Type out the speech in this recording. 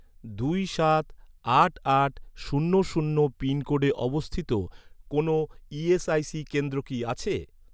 দুই সাত আট আট শূন্য শূন্য পিনকোডে অবস্থিত কোনও ইএসআইসি কেন্দ্র কি আছে?